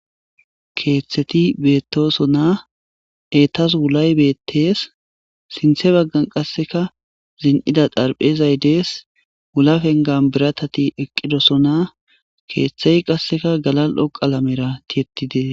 Keeththeti beettosonna eetas wulay beettees sinthe baggan qasseka zin7ida darphezay dees wulafengan biratati eqqidosona keeththey qasseka galal7o qalamera tiyettidees